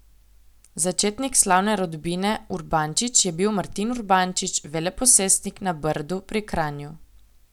Začetnik slavne rodbine Urbančič je bil Martin Urbančič, veleposestnik na Brdu pri Kranju.